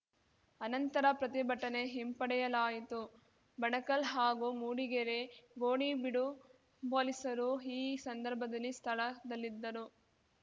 ಅನಂತರ ಪ್ರತಿಭಟನೆ ಹಿಂಪಡೆಯಲಾಯಿತು ಬಣಕಲ್‌ ಹಾಗೂ ಮೂಡಿಗೆರೆ ಗೋಣಿಬೀಡು ಪೊಲೀಸರು ಈ ಸಂದರ್ಭದಲ್ಲಿ ಸ್ಥಳದಲ್ಲಿದ್ದರು